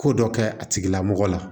Ko dɔ kɛ a tigilamɔgɔ la